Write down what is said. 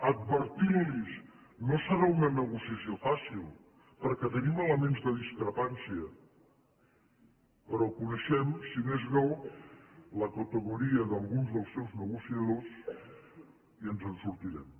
advertint los no serà una negociació fàcil perquè tenim elements de discrepància però coneixem si més no la categoria d’alguns dels seus negociadors i ens en sortirem